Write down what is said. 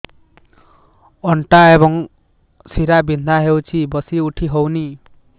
ଅଣ୍ଟା ଏବଂ ଶୀରା ବିନ୍ଧା ହେଉଛି ବସି ଉଠି ହଉନି